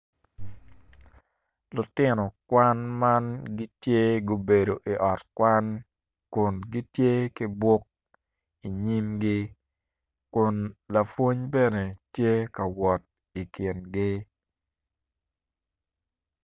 Lutino kwan man gitye gubedo i ot kwan kun gitye ki buk inyimgi kun lapwony bene tye ka wot i kingi.